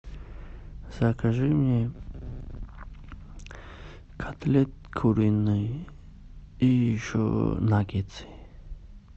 закажи мне котлеты куриные и еще наггетсы